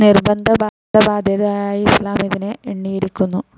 നിർബന്ധ ബാദ്ധ്യതയായി ഇസ്ലാം ഇതിനെ എണ്ണിയിരിക്കുന്നു.